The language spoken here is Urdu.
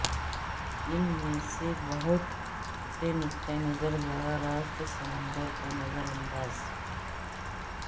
ان میں سے بہت سے نقطہ نظر براہ راست سمندر کو نظر انداز